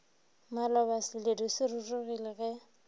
maloba seledu se rurugile ge